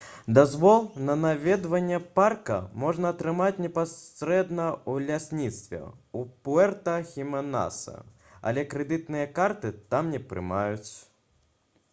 дазвол на наведванне парка можна атрымаць непасрэдна ў лясніцтве ў пуэрта-хіменасе але крэдытныя карты там не прымаюць